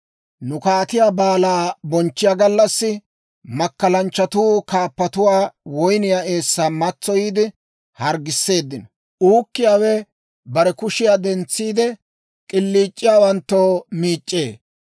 Nu kaatiyaa baalaa bonchchiyaa gallassi, makkalanchchatuu kaappatuwaa woyniyaa eessan matsoyiide harggisseeddino; uukkiyaawe bare kushiyaa dentsiide, k'iliic'iyaawanttoo mic'c'ee.